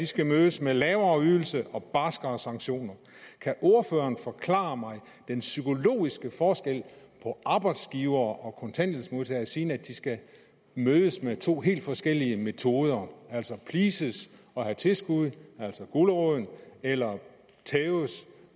skal mødes med lavere ydelser og barskere sanktioner kan ordføreren forklare mig den psykologiske forskel på arbejdsgivere og kontanthjælpsmodtagere siden de skal mødes med to helt forskellige metoder pleases og have tilskud altså en gulerod eller tæves